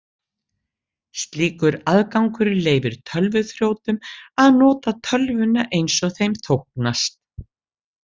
Slíkur aðgangur leyfir tölvuþrjótum að nota tölvuna eins þeim þóknast.